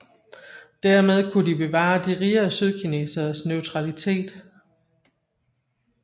Dermed kunne de bevare de rigere sydkineseres neutralitet